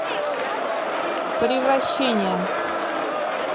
превращение